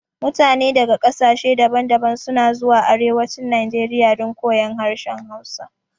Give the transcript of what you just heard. Mutane daga ƙasashe daban daban suna zuwa arewacin najeriya don koyon harshen hausa